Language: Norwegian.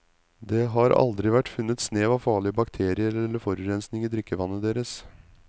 Det har aldri vært funnet snev av farlige bakterier eller forurensing i drikkevannet deres.